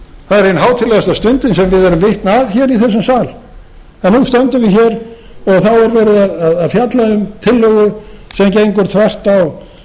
það er ein hátíðlegasta stundin sem við erum vitni að hér í þessum sal nú stöndum við hér og þá er verið að fjalla um tillögu sem gengur þvert á